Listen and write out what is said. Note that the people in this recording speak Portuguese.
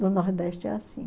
No Nordeste é assim.